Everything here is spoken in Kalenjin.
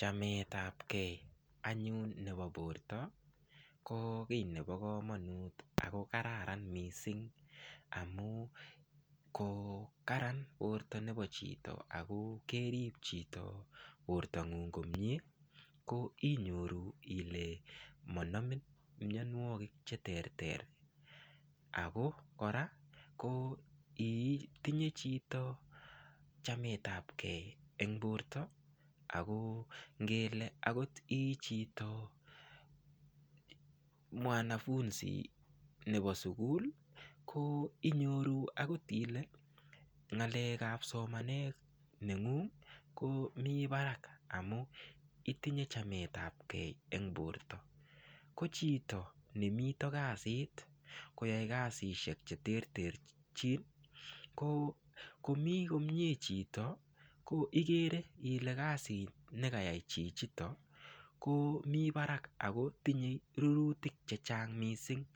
Chametab gei anyun nebo borto ko kii nebo kamonut ako kararan mising' amu ko kararan borto nebo chito ako kerib chito bortong'uk komyee ko inyoru ile manomin miyonwokik cheterter ako kora ko itinye chito chametab gei eng' borto ako ngele akot ii chito mwanafunzi nebo sukul ko inyoru akot ile ng'alekab somanetab neng'ung' komi barak amu itinye chametab gei eng' borto ko chito nemito kasit koyoei kasishek cheterterchin ko komi komye chito ko igere ile kasit nekayai chichito ko mi barak ako tinyei rurutik chechang' mising'